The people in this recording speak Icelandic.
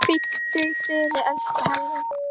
Hvíldu í friði, elsku Halli.